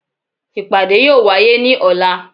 ipáde yóò waye ní ola